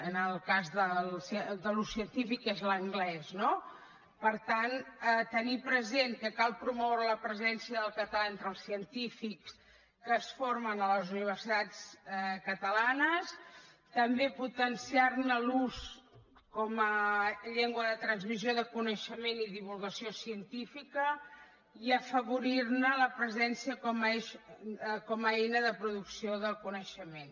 en el cas del científic és l’anglès no per tant tenir present que cal promoure la presència del català entre els científics que es formen a les universitats catalanes també potenciar ne l’ús com a llengua de transmissió de coneixement i divulgació científica i afavorir ne la presència com a eina de producció del coneixement